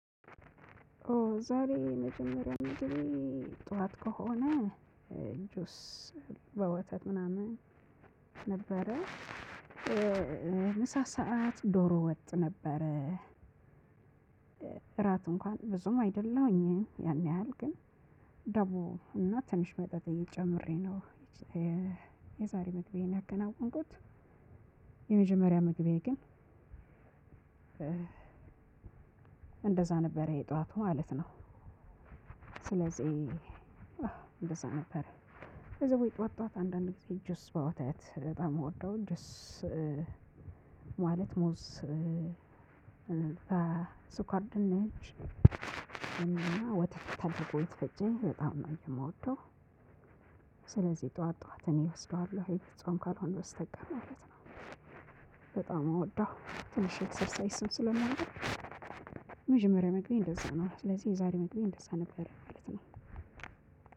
ኦ ዛሬ መጀመሪያ ምንድነው? ጠዋት ከሆነ ጁስ በወተት ምናምን ነበረ። ምሳ ሰዓት ዶሮ ወጥ ነበረ ነበር። እራት እንኳን ብዙም አይደለሁኝ ያን ያህል ግን ዳቦ እና ትንሽ መጠጥ ጨምሬ ነው። የዛሬ ምግቤን የከናወንኩት። የመጀመርያ ምግቤ ግን እንደዛ ነበረ የጠዋቱ ማለት ነው። ስለዚህ እንደዛ ነበረ ከዛ ጧት ጧት አንዳንድ ጊዜ ጁስ በወቸ በጣም ነው እምወደው ጁስ። ማለት ሙዝ በስኳር ድንች እና ወተት ተንተኮይ ተፈጨ በጣም ነው የምወደው። ስለዚህ ጠዋት ጠዋት እኔ እወስደዋለሁ የጾም ካልሆንኩ በስተቀር ማለት ነው። በጣም ምወዳሁ ትንሽ ኤክሰርሳይስም ስለማደርግ። መጀመሪያ ምግቤ እንደዛ ነው ስለዚህ የዛሬ ምግቤ እንደዛ ነበር።